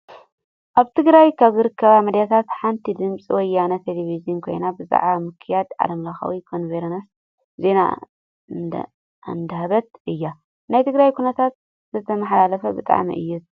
ኣብ ትግራይ ካብ ዝርከባ ሚዳታት ሓንቲ ድምፂ ወያነ ቴሌቬዥን ኮይና ብዛዕባ ምክያድ ዓለምለኻዊ ኮንፈረንስ ዜና እንዳሃበት እያ። ናይ ትግራይ ኩነታት ስለ ተመሓላልፍ ብጣዕሚ እያ ትስሕበካ።